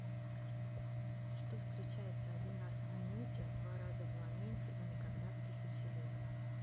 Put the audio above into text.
что встречается один раз в минуте два раза в моменте и никогда в тысяче лет